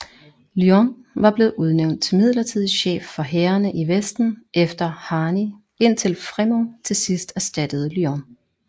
Lyon var blevet udnævnt til midlertidig chef for hærene i Vesten efter Harney indtil Frémont til sidst erstattede Lyon